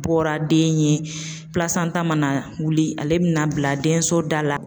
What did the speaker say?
Bɔra den ɲɛ, mana wili ale bɛna bila denso da la